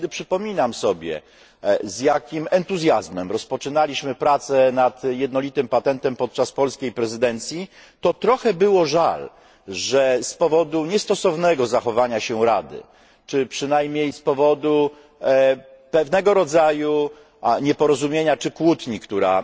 Ale kiedy przypominam sobie, z jakim entuzjazmem rozpoczynaliśmy pracę nad jednolitym patentem podczas polskiej prezydencji, to trochę było żal, że z powodu niestosownego zachowania się Rady czy przynajmniej z powodu pewnego rodzaju nieporozumienia czy kłótni, która